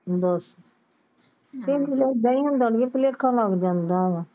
ਦਸ ਦੇਈ ਮੁੰਡਾ ਬੇਲਾਖਾ ਮਨ ਜਾਂਦਾ ਆ